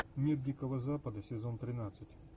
мир дикого запада сезон тринадцать